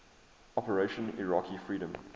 operation iraqi freedom